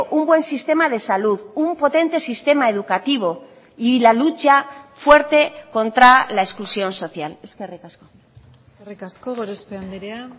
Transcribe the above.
un buen sistema de salud un potente sistema educativo y la lucha fuerte contra la exclusión social eskerrik asko eskerrik asko gorospe andrea